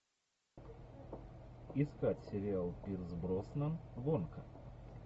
искать сериал пирс броснан гонка